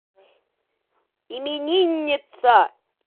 именинница